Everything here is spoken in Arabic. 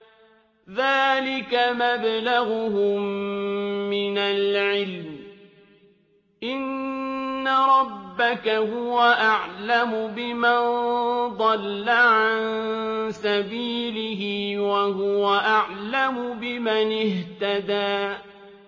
ذَٰلِكَ مَبْلَغُهُم مِّنَ الْعِلْمِ ۚ إِنَّ رَبَّكَ هُوَ أَعْلَمُ بِمَن ضَلَّ عَن سَبِيلِهِ وَهُوَ أَعْلَمُ بِمَنِ اهْتَدَىٰ